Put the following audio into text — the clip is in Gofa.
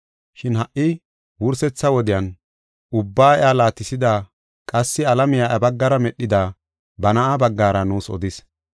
Shin ha wursetha wodiyan ubbaa iya laatisida qassi alame iya baggara medhida ba Na7aa baggara nuus odis.